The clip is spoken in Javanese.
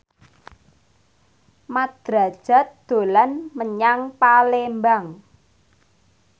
Mat Drajat dolan menyang Palembang